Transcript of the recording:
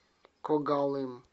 когалым